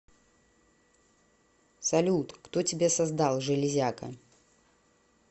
салют кто тебя создал железяка